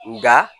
Nka